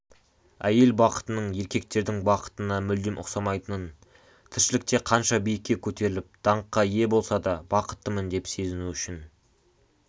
әйел бақытының еркектердің бақытына мүлдем ұқсамайтынын тіршілікте қанша биікке көтеріліп даңққа ие болса да бақыттымын деп сезіну үшін